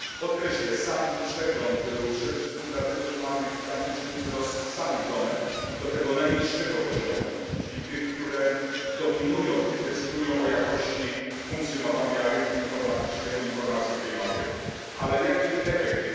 Podkreślę sam przegląd był przede wszystkim dlatego, że mamy gigantyczny wzrost samych domen i to tego najwyższego poziomu, czyli tych, które dominują i decydują o jakości funkcjonowania rynku informatycznego, informacji w tej materii. Ale jaki jest jego efekt?